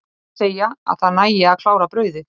Aðrir segja að það nægi að klára brauðið.